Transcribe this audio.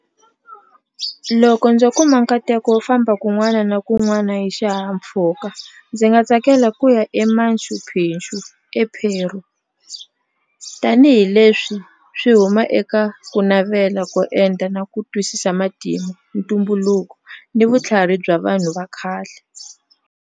Loko ndzo kuma nkateko wo famba kun'wana na kun'wana hi xihahampfhuka ndzi nga tsakela ku ya eMachu Picchu ePeru tanihileswi swi huma eka ku navela ku endla na ku twisisa matimu ntumbuluko ni vutlhari bya vanhu va khale.